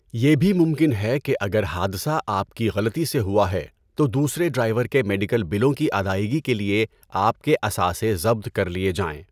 یہ بھی ممکن ہے کہ اگر حادثہ آپ کی غلطی سے ہوا ہے تو دوسرے ڈرائیور کے میڈیکل بلوں کی ادائیگی کے لیے آپ کے اثاثے ضبط کر لیے جائیں۔